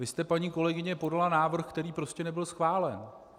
Vy jste, paní kolegyně, podala návrh, který prostě nebyl schválen.